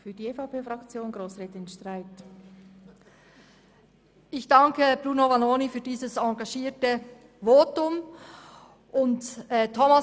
Ich danke Grossrat Vanoni für sein engagiertes Votum, und Grossrat